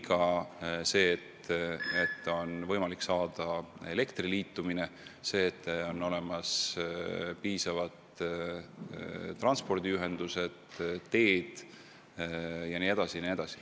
Ka peab olema võimalik saada elektriliitumine, peavad olema normaalsed teed ja transpordiühendused jne, jne.